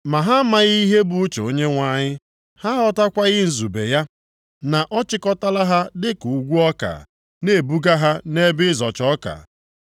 Ma ha amaghị ihe bụ uche Onyenwe anyị, ha aghọtakwaghị nzube ya, na ọ chịkọtala ha dịka ukwu ọka, na-ebuga ha nʼebe ịzọcha ọka.